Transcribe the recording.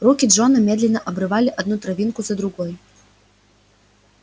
руки джона медленно обрывали одну травинку за другой